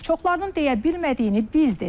Çoxlarının deyə bilmədiyini biz dedik.